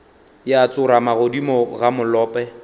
ya tsorama godimo ga molope